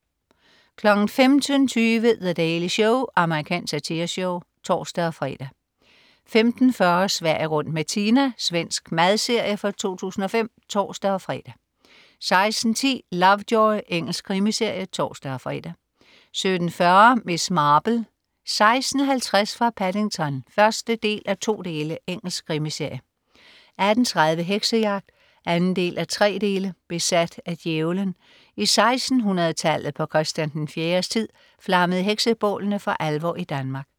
15.20 The Daily Show. Amerikansk satireshow (tors-fre) 15.40 Sverige rundt med Tina. Svensk madserie fra 2005. (tors-fre) 16.10 Lovejoy. Engelsk krimiserie (tors-fre) 17.40 Miss Marple: 16.50 fra Paddington 1:2. Engelsk krimiserie 18.30 Heksejagt. 2:3. Besat af djævelen. I 1600tallet på Christian 4s tid, flammede heksebålene for alvor i Danmark